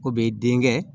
O bɛ den kɛ